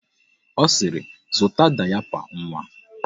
Ọ sịrị, zụta dayapa nwa!